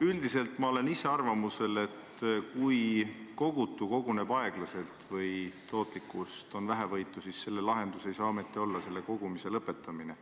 Üldiselt ma olen arvamusel, et kui kogutav koguneb aeglaselt või tootlikkust on vähevõitu, siis selle lahendus ei saa ometi olla kogumise lõpetamine.